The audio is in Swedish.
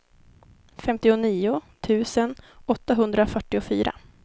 femtionio tusen åttahundrafyrtiofyra